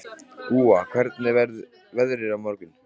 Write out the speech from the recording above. Úa, hvernig verður veðrið á morgun?